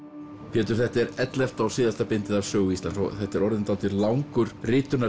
Pétur þetta er ellefta og síðasta bindið af Sögu Íslands og þetta er orðið dálítið langur